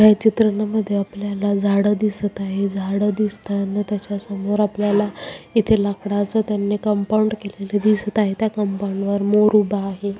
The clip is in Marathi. या चित्राना मध्ये आपल्याला झाड दिसत आहे झाड दिसताना त्याच्या समोर आपल्याल इथे लाकडाच त्यानी कंपाउंड केलेले दिसत आहे त्या कपाऊड वर मोर उभा आहे.